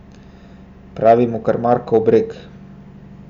Pravi mu kar Markov breg.